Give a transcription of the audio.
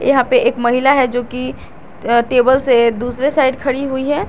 यहां पे एक महिला है जो कि टेबल से दूसरी साइड खड़ी हुई है।